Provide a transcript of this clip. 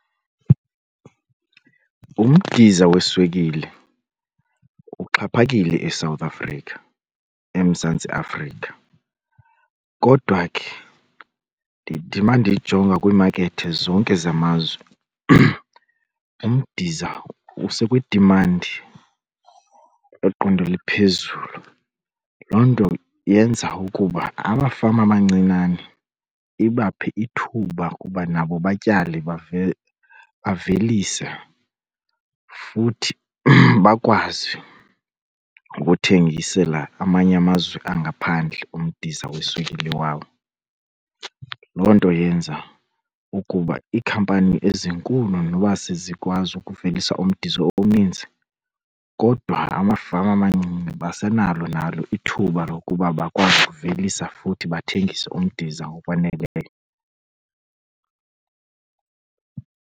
Umdiza weswekile uxhaphakile eSouth Africa, eMzantsi Afrika, kodwa ke ndithi uma ndijonga kwiimakethi zonke zamazwe umdiza usekwi-demand lweqondo eliphezulu. Loo nto yenza ukuba amafama amancinane ibaphe ithuba uba nabo batyale bavelise futhi bakwazi ukuthengisela amanye amazwe angaphandle umdiza weswekile wawo. Loo nto yenza ukuba iikhampani ezinkulu noba sezikwazi ukuvelisa umdiza omninzi kodwa amafama amancinci basenalo nalo ithuba lokuba bakwazi ukuvelisa futhi bathengise umdiza ngokwaneleyo.